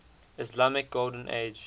islamic golden age